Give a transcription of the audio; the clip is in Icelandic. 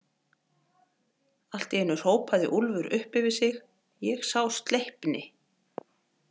Allt í einu hrópaði Úlfur upp yfir sig: Ég sá Sleipni.